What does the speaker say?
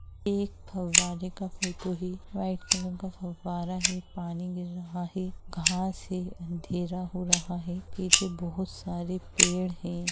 यह एक फव्वारे का फोटो है वाइट कलर का फव्वारा है पानी गिर रहा है घांस है अँधेरा हो रहा है पीछे बहुत सारे पेड़ हैं।